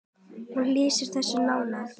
Hún lýsir þessu nánar.